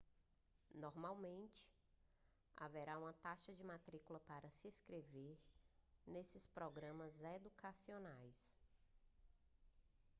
normalmente haverá uma taxa de matrícula para se inscrever nesses programas educacionais